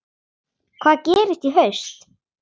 Hvað gerist í haust?